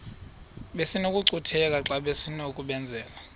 besinokucutheka xa besinokubenzela